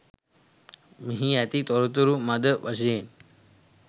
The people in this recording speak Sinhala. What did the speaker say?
මෙහි ඇති තොරතුරු මද වශයෙන්